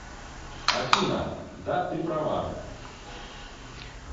афина да ты права